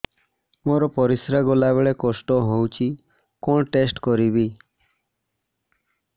ମୋର ପରିସ୍ରା ଗଲାବେଳେ କଷ୍ଟ ହଉଚି କଣ ଟେଷ୍ଟ କରିବି